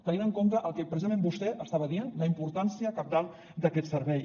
tenint en compte el que precisament vostè estava dient la importància cabdal d’aquest servei